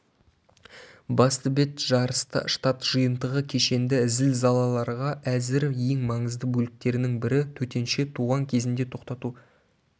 басты бет жарыста штат жиынтығы кешенді зілзалаларға әзір ең маңызды бөліктерінің бірі төтенше туған кезінде тоқтату